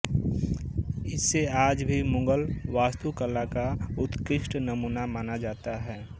इसे आज भी मुगल वास्तु कला का उत्कृष्ट नमूना माना जाता है